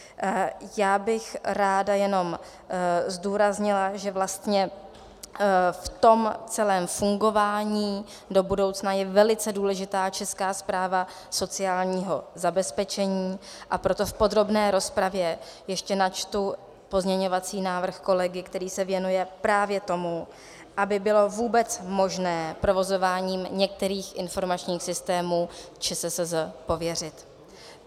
Já bych ráda jenom zdůraznila, že vlastně v tom celém fungování do budoucna je velice důležitá Česká správa sociálního zabezpečení, a proto v podrobné rozpravě ještě načtu pozměňovací návrh kolegy, který se věnuje právě tomu, aby bylo vůbec možné provozováním některých informačních systémů ČSSZ pověřit.